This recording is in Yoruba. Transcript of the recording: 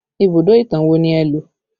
Ibùdó ìtàn wo ni ẹ lo?